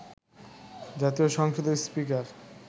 জাতীয় সংসদের স্পীকার